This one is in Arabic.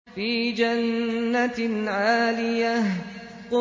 فِي جَنَّةٍ عَالِيَةٍ